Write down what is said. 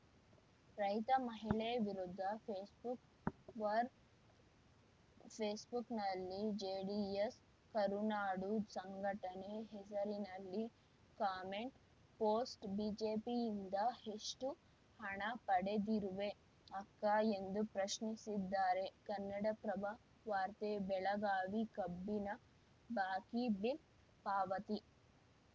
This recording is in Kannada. ರೈತ ಮಹಿಳೆ ವಿರುದ್ಧ ಫೇಸ್‌ಬುಕ್‌ ವಾರ್‌ ಫೇಸ್‌ಬುಕ್‌ನಲ್ಲಿ ಜೆಡಿಎಸ್‌ ಕರುನಾಡು ಸಂಘಟನೆ ಹೆಸರಿನಲ್ಲಿ ಕಾಮೆಂಟ್‌ ಪೋಸ್ಟ್‌ ಬಿಜೆಪಿಯಿಂದ ಎಷ್ಟುಹಣ ಪಡೆದಿರುವೆ ಅಕ್ಕಾ ಎಂದು ಪ್ರಶ್ನಿಸಿದ್ದಾರೆ ಕನ್ನಡಪ್ರಭ ವಾರ್ತೆ ಬೆಳಗಾವಿ ಕಬ್ಬಿನ ಬಾಕಿ ಬಿಲ್‌ ಪಾವತಿ